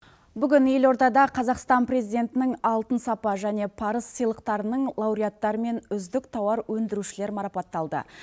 бүгін елордада қазақстан президентінің алтын сапа және парыз сыйлықтарынын лауреттарымен үздік тауар өндірушілер марапатталды